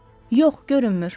Yox, görünmür.